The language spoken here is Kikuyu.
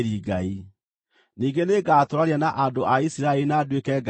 Ningĩ nĩngatũũrania na andũ a Isiraeli na nduĩke Ngai wao.